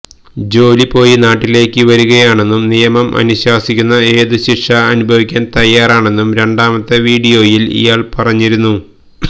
ജോലി പോയി നാട്ടിലേക്കു വരികയാണെന്നും നിയമം അനുശാസിക്കുന്ന ഏതു ശിക്ഷയും അനുഭവിക്കാൻ തയാറാണെന്നും രണ്ടാമത്തെ വിഡിയോയിൽ ഇയാൾ പറഞ്ഞിരുന്നു